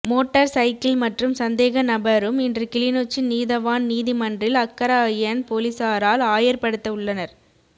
motor cycle மற்றும் சந்தேகநபரும் இன்று கிளிநொச்சி நீதவான் நீதி மன்றில் அக்கராயன் பொலிசாரால் ஆயர் படுத்த உள்ளனர்